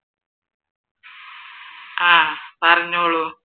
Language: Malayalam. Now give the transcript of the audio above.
ആഹ് പറഞ്ഞോളൂ